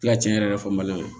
Tila tiɲɛn yɛrɛ fɔ mali